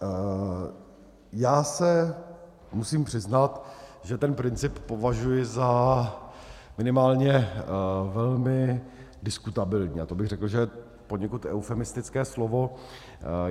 Já se musím přiznat, že ten princip považuji za minimálně velmi diskutabilní, a to bych řekl, že je poněkud eufemistické slovo.